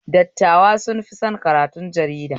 Dattawa sun fi son karatun jarida